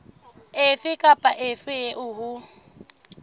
efe kapa efe eo ho